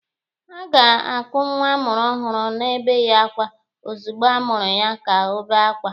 A ga-akụ nwa a mụrụ ọhụrụ na-ebeghị akwa ozugbo a mụrụ ya ka o bee akwa